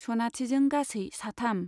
सनाथिजों गासै साथाम।